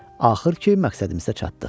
Axır ki, məqsədimizə çatdıq.